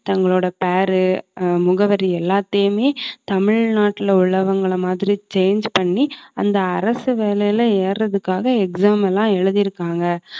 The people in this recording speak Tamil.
தங்களோட பெயர் ஆஹ் முகவரி எல்லாத்தையுமே தமிழ்நாட்டுல உள்ளவங்களை மாதிரி change பண்ணி அந்த அரசு வேலையில ஏறதுக்காக exam எல்லாம் எழுதிஇருக்காங்க